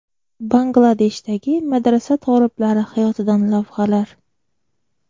Bangladeshdagi madrasa toliblari hayotidan lavhalar .